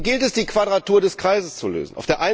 Hier gilt es, die Quadratur des Kreises zu lösen.